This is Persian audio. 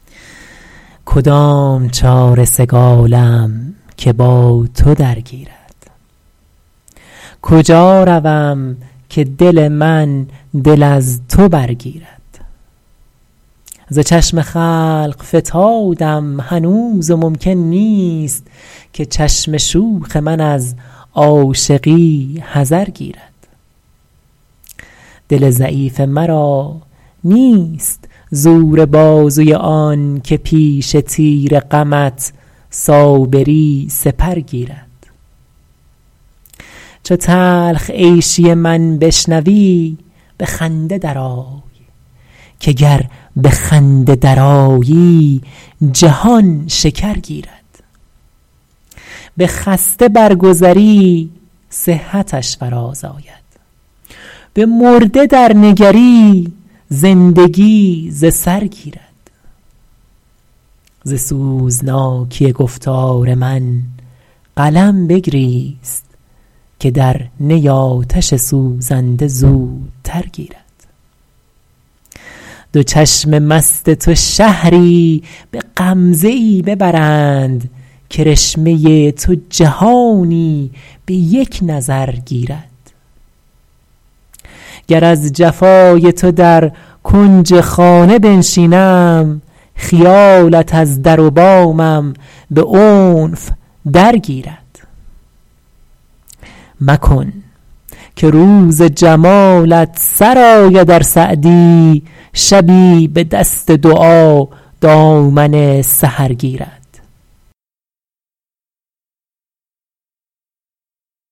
کدام چاره سگالم که با تو درگیرد کجا روم که دل من دل از تو برگیرد ز چشم خلق فتادم هنوز و ممکن نیست که چشم شوخ من از عاشقی حذر گیرد دل ضعیف مرا نیست زور بازوی آن که پیش تیر غمت صابری سپر گیرد چو تلخ عیشی من بشنوی به خنده درآی که گر به خنده درآیی جهان شکر گیرد به خسته برگذری صحتش فرازآید به مرده درنگری زندگی ز سر گیرد ز سوزناکی گفتار من قلم بگریست که در نی آتش سوزنده زودتر گیرد دو چشم مست تو شهری به غمزه ای ببرند کرشمه تو جهانی به یک نظر گیرد گر از جفای تو در کنج خانه بنشینم خیالت از در و بامم به عنف درگیرد مکن که روز جمالت سر آید ار سعدی شبی به دست دعا دامن سحر گیرد